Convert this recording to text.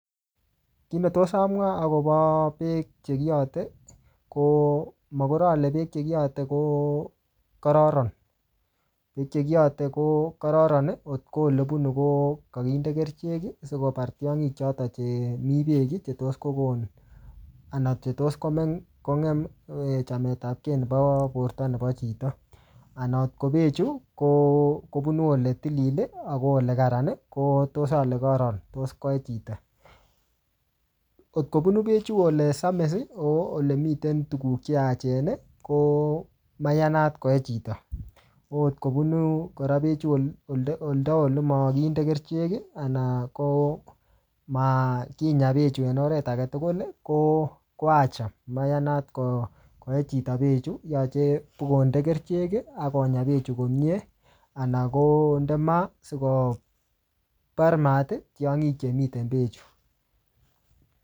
Kiy netos amwaa akobo beek che kiyate, ko makor ale beek che kiyate ko kararan. Beek che kiyate ko kararan, ngotko ole bunu ko kakinde kerichek, sikobar tiongik chotok chemii beek, chetos kokon anan chetos komeng kong'em chamtepakey nebo porto nebo chito. Anan ot ko beek chu, ko-kobunu ole tilil, ak ole kararan, kotos ale, ko tos koee chito. Ngot kobunu bechuu ole samis, ole miten tuguk che yachen, ko maiyanat koee chito. Angot kobunu kora bechu olda-olda ole makinde kerichek, anan ko makinyaa bechuu en oret age tugul ko-ko acha. Mayanat koee chito beek chuu. Yache tikonde kerichek, akonyaa bechuu komyee. Anan konde maa, sikobar maat tiongik chemiten beek chu